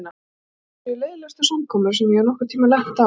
Ég held að það séu leiðinlegustu samkomur sem ég hef nokkurn tíma lent á.